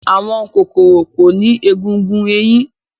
Àwọn kòkòrò kò ní egungun ẹ̀yìn.